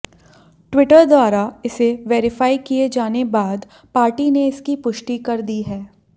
Twitter द्वारा इसे verify किये जाने बाद पार्टी ने इसकी पुष्टि कर दी है